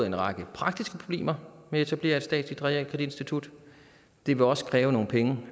en række praktiske problemer med at etablere et statsligt realkreditinstitut det vil også kræve nogle penge